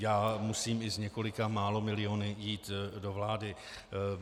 Já musím i s několika málo miliony jít do vlády.